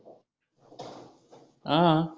हां